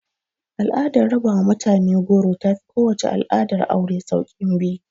Al'adar raba wa mutane goro ta fi kowace al'adar aure sauƙin bi